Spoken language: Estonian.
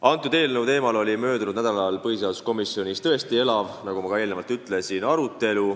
Selle eelnõu teemal oli möödunud nädalal põhiseaduskomisjonis tõesti elav arutelu, nagu ma juba ütlesin.